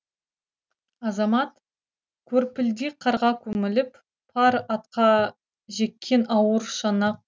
азамат көрпілдек қарға көміліп пар атқа жеккен ауыр шана